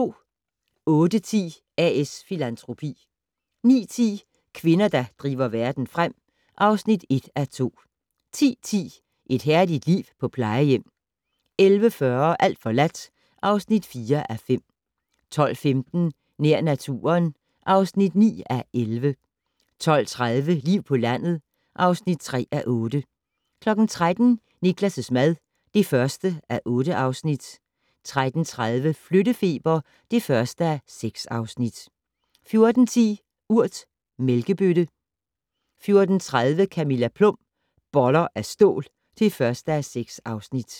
08:10: A/S Filantropi 09:10: Kvinder, der driver verden frem (1:2) 10:10: Et herligt liv på plejehjem 11:40: Alt forladt (4:5) 12:15: Nær naturen (9:11) 12:30: Liv på landet (3:8) 13:00: Niklas' mad (1:8) 13:30: Flyttefeber (1:6) 14:10: Urt: mælkebøtte 14:30: Camilla Plum - Boller af stål (1:6)